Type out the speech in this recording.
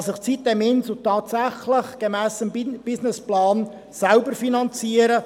Kann sich die sitem-Insel tatsächlich gemäss ihrem Businessplan selbst finanzieren?